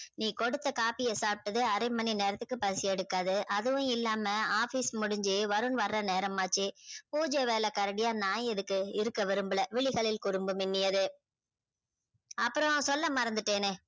நீ குடுத்த coffee ய சாப்டதே அரைமணி நேரத்துக்கு பசி எடுக்காது அதுவும் இல்லாம office முடிஞ்சி வருண் வர நேரம் ஆச்ச பூஜா வேல கரடியா நா எதுக்கு இருக்க விரும்பல விழிகளில் குறும்பு மின்னியத அப்பறம் சொல்ல மறந்துட்டனே